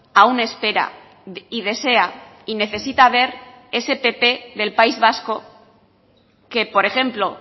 aún espera y desea y necesita ver ese pp del país vasco que por ejemplo